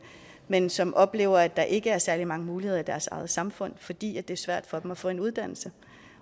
men som oplever at der ikke er særlig mange muligheder i deres eget samfund fordi det er svært for dem at få en uddannelse